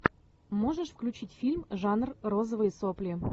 можешь включить фильм жанр розовые сопли